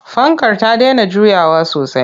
Fankar ta dena juyawa sosai.